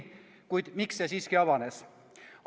Kuid miks see siiski avanes?